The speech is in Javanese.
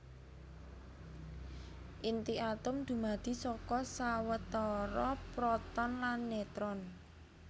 Inti atom dumadi saka sawetara proton lan neutron